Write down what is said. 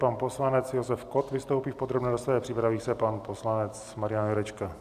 Pan poslanec Josef Kott vystoupí v podrobné rozpravě, připraví se pan poslanec Marian Jurečka.